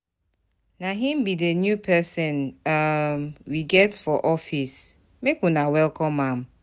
Na him be the new person um we get for office, make una welcome am.